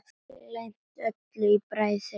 Gleymt öllu í bræði sinni.